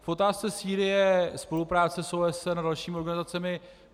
K otázce Sýrie, spolupráce s OSN a dalšími organizacemi.